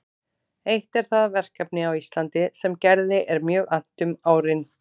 Eitt er það verkefni á Íslandi sem Gerði er mjög annt um árin